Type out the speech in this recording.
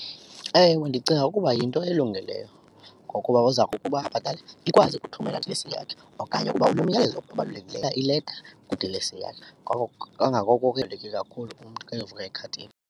Ewe, ndicinga ukuba yinto elungileyo ngokuba uza kukuba ikwazi ukuthumela idilesi eyakhe okanye ukuba umyalezo okubalulekileyo ileta kudilesi yakhe. Ngoko kangangoko ke ibalulekile kakhulu umntu xa enovula ikhadi .